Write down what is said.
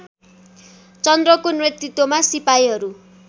चन्द्रको नेतृत्वमा सिपाहीहरू